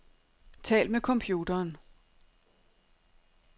Tal med computeren.